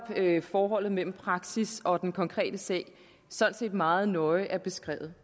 forholdet mellem praksis og den konkrete sag sådan set meget nøje er beskrevet